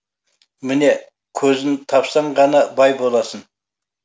міне көзін тапсан ғана бай боласың